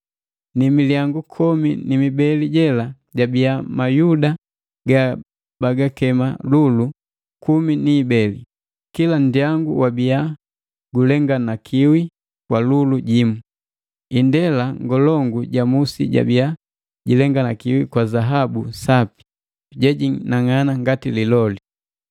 Ni milyangu komi ni mibeli jela jabia mayuda gabagakema lulu kumi ni ibeli, kila nndyangu wabia gulenganakiwi kwa lulu jimu. Indela ngolongu ja musi jabia jilenganakiwi kwa zaabu sapi, jejinang'ana ngati liloli.